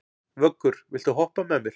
Vöggur, viltu hoppa með mér?